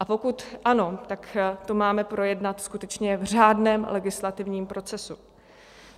A pokud ano, tak to máme projednat skutečně v řádném legislativním procesu.